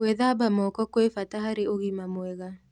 Gwĩthaba moko kwĩ bata harĩ ũgima mwega